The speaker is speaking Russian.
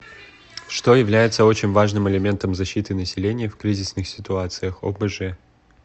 что является очень важным элементом защиты населения в кризисных ситуациях обж